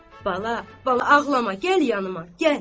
Bala, bala, ağlama, gəl yanıma, gəl!